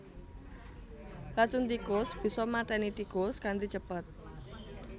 Racun tikus bisa maténi tikus kanthi cepet